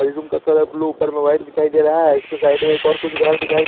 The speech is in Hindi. रूम का कलर ब्लू ऊपर में व्हाइट दिखाई दे रहा है इसको साइड में एक और कुछ घर दिखाई दे--